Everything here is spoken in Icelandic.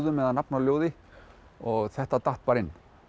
eða nafn á ljóði og þetta datt bara inn